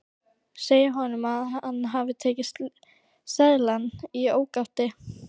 Segja honum að hann hafi tekið seðlana í ógáti.